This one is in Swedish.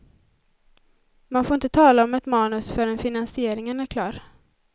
Man får inte tala om ett manus förrän finansieringen är klar.